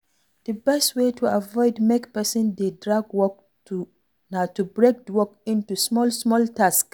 di best way to avoid make person dey drag work na to break di work into small small tasks